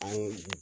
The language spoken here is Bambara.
An ye